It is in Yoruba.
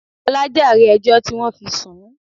Ọlá jàre ẹjọ́ tí wọn fi sùn ún